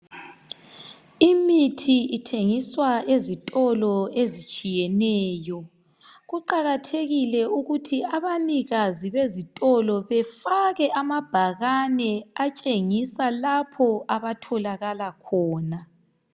Imithi ithengiswa ezitolo ezitshiyeneyo kuqakathekile ukuthi abanikazi bezitolo befake amabhakani atshengisa lapho abatholakala khona